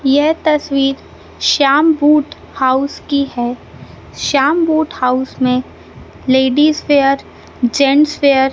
यह तस्वीर Shyam boot house की है श्याम बूट हाउस मे लेडीज वेयर जेंट्स वेयर --